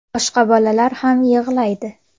Boshqa bolalar ham yig‘laydi.